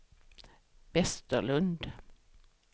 Vesterlund